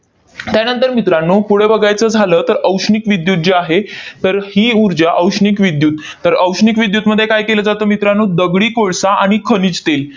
त्यानंतर मित्रांनो, पुढे बघायचं झालं, तर औष्णिक विद्युत जी आहे, तर ही ऊर्जा औष्णिक विद्युत. तर औष्णिक विद्युतमध्ये काय केलं जातं मित्रांनो? दगडी कोळसा आणि खनिज तेल